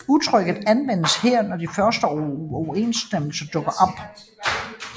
Udtrykket anvendes her når de første uoverensstemmelser dukker op